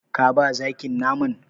Ka ba zakin naman?